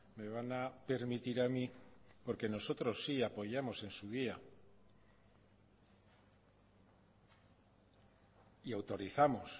me van a permitir a mí porque nosotros sí apoyamos en su día y autorizamos